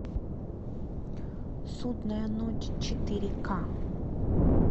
судная ночь четыре ка